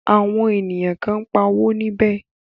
Àwọn ènìyàn kan ń pa owó níbẹ̀.